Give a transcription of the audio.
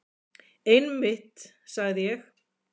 Einmitt, sagði ég.